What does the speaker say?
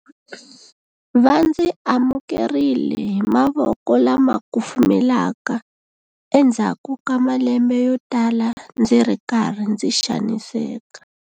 Va ndzi amukerile hi mavoko lama kufumelaka endzhaku ka malembe yotala ndzi ri karhi ndzi xaniseka.